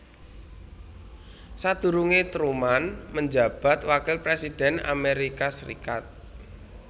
Sadurunge Truman menjabat wakil presiden Amerika Serikat